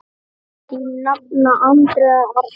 Þín nafna, Andrea Arna.